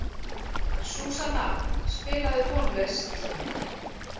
Súsanna, spilaðu tónlist.